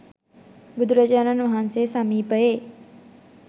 බුදුරජාණන් වහන්සේ සමීපයේ